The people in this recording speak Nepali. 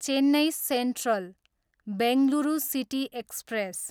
Chennai central, Bengaluru city express